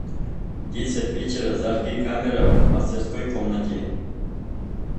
в десять вечера зажги камера в мастерской комнате